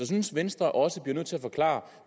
synes venstre også bliver nødt til at forklare